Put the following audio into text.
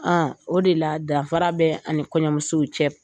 A o de la danfara bɛ ani kɔɲɔmusow cɛ